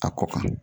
A kɔ kan